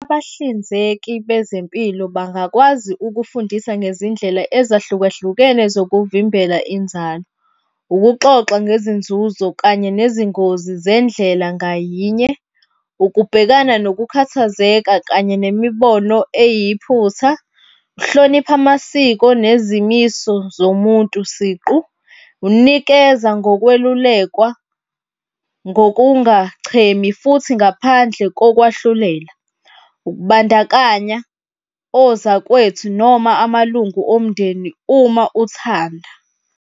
Abahlinzeki bezempilo bangakwazi ukufundisa ngezindlela ezahlukahlukene zokuvimbela inzalo. Ukuxoxa ngezinzuzo kanye nezingozi zendlela ngayinye. Ukubhekana nokukhathazeka kanye nemibono eyiphutha. Ukuhlonipha amasiko nezimiso zomuntu siqu. Unikeza ngokwelulekwa ngokungachemi futhi ngaphandle kokwahlulela. Ukubandakanya ozakwethu noma amalungu omndeni, uma uthanda.